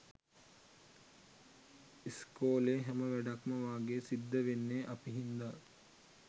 ඉස්කෝලේ හැම වැඩක්ම වගේ සිද්ද වෙන්නේ අපි හින්ද